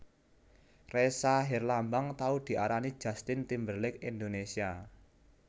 Ressa Herlambang tau diarani Justin Timberlake Indonesia